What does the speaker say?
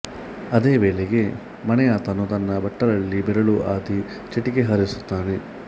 ಅದೇ ವೇಳೆಗೆ ಮನೆಯಾತನೂ ತನ್ನ ಬಟ್ಟಲಲ್ಲಿ ಬೆರಳು ಅದ್ದಿ ಚಿಟಿಕೆ ಹಾರಿಸುತ್ತಾನೆ